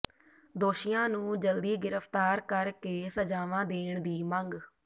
ਦੋਸ਼ੀਆਂ ਨੂੰ ਜਲਦੀ ਗਿ੍ਫ਼ਤਾਰ ਕਰ ਕੇ ਸਜ਼ਾਵਾਂ ਦੇਣ ਦੀ ਮੰਗ